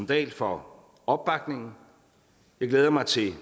dahl for opbakningen jeg glæder mig til